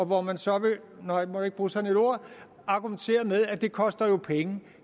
hvor man så vil argumentere med at det jo koster penge